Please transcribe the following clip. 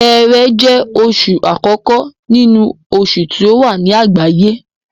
Ṣẹẹrẹ jẹ́ oṣù àkókó nínú oṣù tí ó wà ní àgbáyé